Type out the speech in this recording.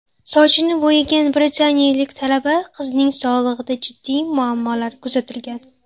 Sochini bo‘yagan britaniyalik talaba qizning sog‘lig‘ida jiddiy muammolar kuzatilgan.